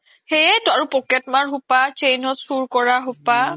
সেইয়েতো আৰু pocket মাৰ খুপা আৰু chain ৰ চুৰ কৰা খুপা